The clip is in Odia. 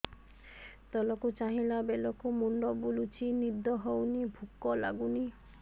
ତଳକୁ ଚାହିଁଲା ବେଳକୁ ମୁଣ୍ଡ ବୁଲୁଚି ନିଦ ହଉନି ଭୁକ ଲାଗୁନି